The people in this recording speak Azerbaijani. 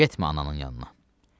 Getmə ananın yanına.